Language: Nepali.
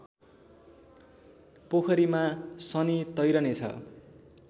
पोखरीमा शनि तैरने छ